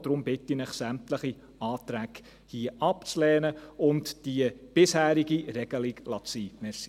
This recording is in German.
Deshalb bitte ich Sie, sämtliche Anträge abzulehnen und die bisherige Regelung zu belassen.